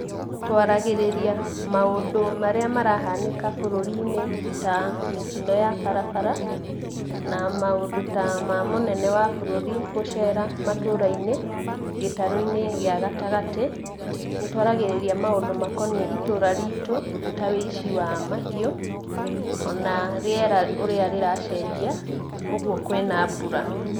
Twaragĩrĩria maũndũ marĩa marahanĩka bũrũri-inĩ, ta mĩtino ya barabara, na maũndũ ta ma mũnene wa bũrũri, gũcera matũra-inĩ, gĩtarũ-ini gĩa gatagatĩ. Nĩ twaragĩrĩria maũndũ makoniĩ ĩtũra riitu, ta ũici wa mahiũ, o na rĩera ũrĩa rĩracenjia, ũguo kwĩna mbura.